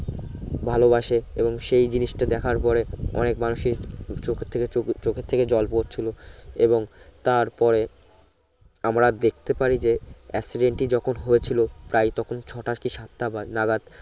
ভালোবাসে এবং সেই জিনিস টা দেখার পরে অনেক মানুষীক চোখের থেকে চোখের থেকে জল পরছিলো এবং তার পরে আমরা আমরা দেখতে পারি যে accident টি যখন হয়েছিলো প্রায় তখন ছোটা সাতাটা বাজ না বাজ